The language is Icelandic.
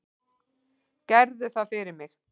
Gerðu það fyrir mig.